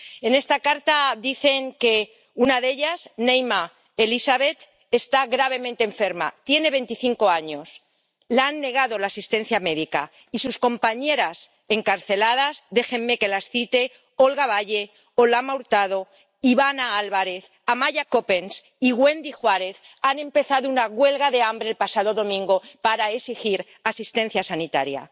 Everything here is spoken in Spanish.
En esta carta dicen que una de ellas, Neyma Elizabeth, está gravemente enferma, tiene 25 años, le han negado la asistencia médica y sus compañeras encarceladas —déjenme que las cite Olga Valle, Olama Hurtado, Ivana Álvarez, Amaya Coppens y Wendy Juárez— han empezado una huelga de hambre el pasado domingo para exigir asistencia sanitaria.